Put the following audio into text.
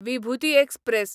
Vibhuti express